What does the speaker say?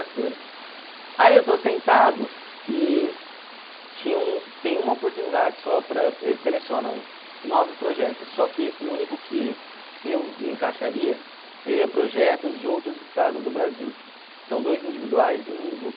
Aí eu estou sentado e tinha um tem uma oportunidade só para, eles selecionam nove projetos, só que o único que eu me encaixaria seria projetos de outros estados do Brasil, que são dois individuais e um em grupo.